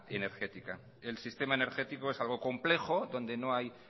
energética el sistema energético es algo complejo donde no hay